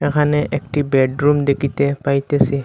এখানে একটি বেডরুম দেখিতে পাইতেসি।